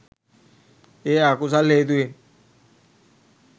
ඒ අකුසල් හේතුවෙන්